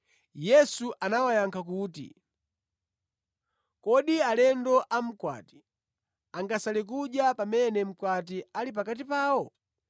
Yesu anawayankha kuti, “Kodi alendo a mkwati angasale kudya pamene mkwati ali pakati pawo?